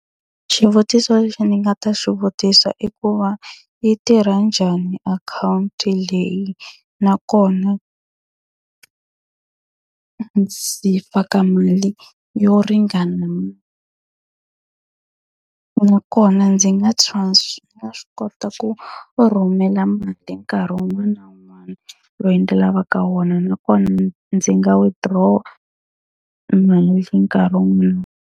Xivutiso lexi ni nga ta xivutiso i ku va, yi tirha njhani akhawunti leyi? Nakona ndzi faka mali yo ringana. Nakona ndzi nga swi kota ku ku rhumela mali nkarhi wun'wana na wun'wana lowu ndzi lavaka wona? Nakona ndzi nga withdraw-a mali nkarhi wun'wana.